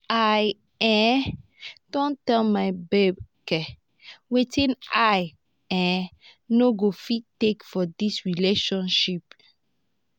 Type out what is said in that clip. i um don tell my babe um wetin i um no go fit take for dis relationship.